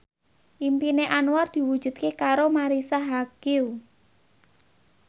impine Anwar diwujudke karo Marisa Haque